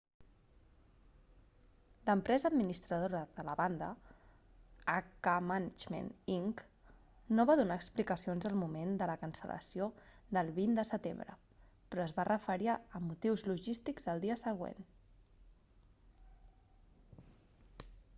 l'empresa administradora de la banda hk management inc no va donar explicacions al moment de la cancel·lació del 20 de setembre però es va referir a motius logístics el dia següent